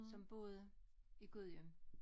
Som boede i Gudhjem